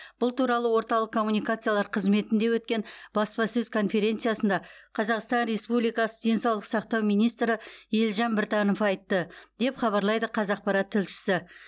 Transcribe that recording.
бұл туралы орталық коммуникациялар қызметінде өткен баспасөз конференциясында қазақстан республикасы денсаулық сақтау министрі елжан біртанов айтты деп хабарлайды қазақпарат тілшісі